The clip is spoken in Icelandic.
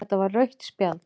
Þetta var rautt spjald